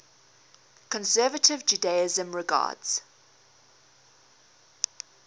conservative judaism regards